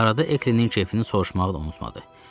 Arada Eklinin kefini soruşmağı da unutmadı.